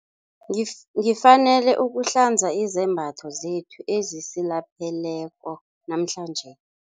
Ngifanele ukuhlanza izembatho zethu ezisilapheleko namhlanje.